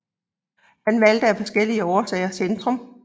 Han valgte af forskellige årsager Centrum